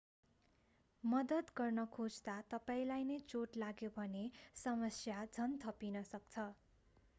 मद्दत गर्न खोज्दा तपाईंलाई नै चोट लाग्यो भने समस्या झन् थपिन सक्छ